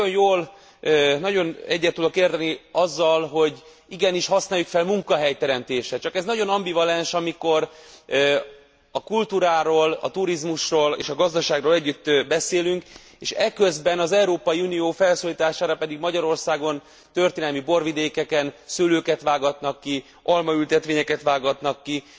És nagyon egyet tudok érteni azzal, hogy igenis használjuk fel munkahelyteremtésre, csak ez nagyon ambivalens, amikor a kultúráról, a turizmusról és a gazdaságról együtt beszélünk, és eközben az Európai Unió felszólítására pedig Magyarországon történelmi borvidékeken szőlőket vágatnak ki, almaültetvényeket vágatnak ki.